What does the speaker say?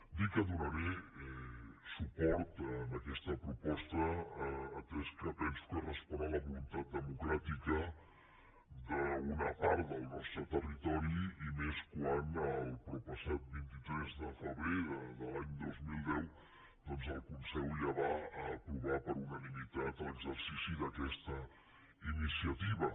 dir que donaré suport a aquesta proposta atès que penso que respon a la voluntat democràtica d’una part del nostre territo·ri i més quan el proppassat vint tres de febrer de l’any dos mil deu doncs el conselh ja va aprovar per unanimitat l’exer·cici d’aquesta iniciativa